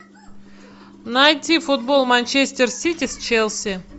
найди футбол манчестер сити с челси